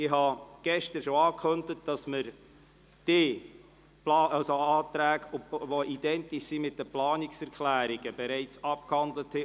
Ich habe gestern bereits angekündigt, dass wir die Anträge, die identisch mit den Planungserklärungen sind, bereits abgehandelt haben.